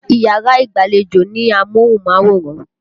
Yàrá ìgbàlejò ní amóhùnmáwòran.